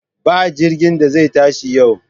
Ba jirgin da zai tashi yau!